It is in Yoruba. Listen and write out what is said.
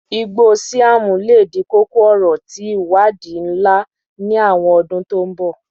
igbo siam le di koko-ọrọ ti iwadii nla ni awọn ọdun to n bọ